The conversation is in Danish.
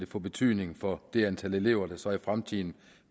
få betydning for det antal elever der så i fremtiden